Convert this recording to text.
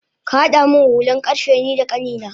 Kahada min hulan karfe nida kanina